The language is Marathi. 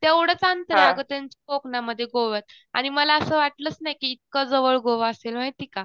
तेवढंच अंतर आहे अगं त्यांच्या कोकणामध्ये गोव्यात आणि मला असं वाटलंच नाही की इतकं जवळ गोवा असेल माहिती का?